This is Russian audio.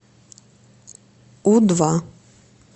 у два